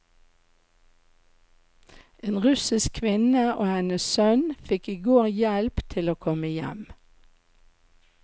En russisk kvinne og hennes sønn fikk i går hjelp til å komme hjem.